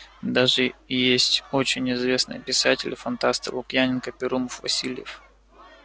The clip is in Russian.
даже есть очень известные писатели фантасты лукьяненко перумов васильев